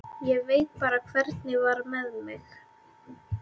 Ég veit bara hvernig var með mig.